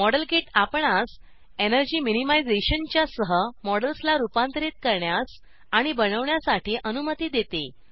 model kit आपणास energy मिनिमाइज़ेशनच्या सह मॉडेल्सला रुपांतरीत करण्यास आणि बनवण्यासाठी अनुमती देते